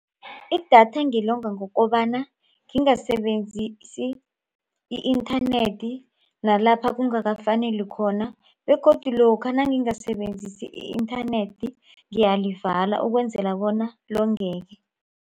Idatha ngilonga ngokobana ngingasebenzisi i-internet nalapha kungakafaneli khona begodu lokha nangingasebenzisi i-internet ngiyalivala ukwenzela bona longeke.